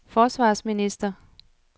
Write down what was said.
forsvarsminister